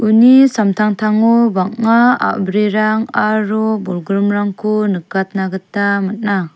uni samtangtango bang·a a·brirangko aro bolgrimrangko nikatna gita man·a.